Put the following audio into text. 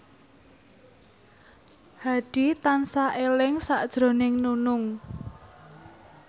Hadi tansah eling sakjroning Nunung